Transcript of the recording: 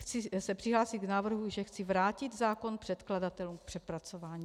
Chci se přihlásit k návrhu, že chci vrátit zákon předkladatelům k přepracování.